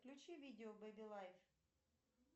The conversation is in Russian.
включи видео бэби лайф